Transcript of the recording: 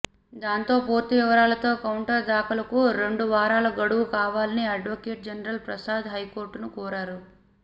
దీంతో పూర్తి వివరాలతో కౌంటర్ దాఖలుకు రెండు వారాల గడువు కావాలని అడ్వకేట్ జనరల్ ప్రసాద్ హైకోర్టును కోరారు